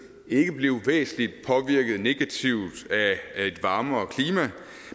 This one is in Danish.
ikke blive væsentlig negativt af et varmere klima